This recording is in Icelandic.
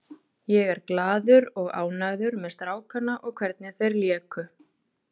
Ég er glaður og ánægður með strákana og hvernig þeir léku.